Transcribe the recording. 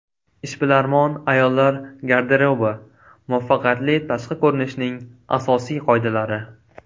Ishbilarmon ayollar garderobi: muvaffaqiyatli tashqi ko‘rinishning asosiy qoidalari .